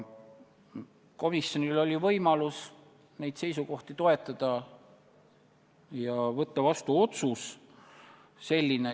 Komisjonil oli võimalus neid seisukohti toetada ja võtta vastu otsus.